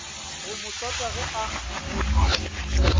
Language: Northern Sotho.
go mo tsota ge a